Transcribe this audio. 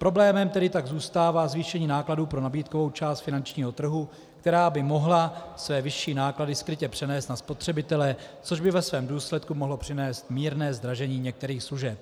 Problémem tedy tak zůstává zvýšení nákladů pro nabídkovou část finančního trhu, která by mohla své vyšší náklady skrytě přenést na spotřebitele, což by ve svém důsledku mohlo přinést mírné zdražení některých služeb.